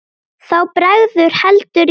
Þá bregður heldur í verra.